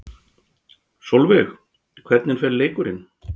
Sólveig: Hvernig fer leikurinn?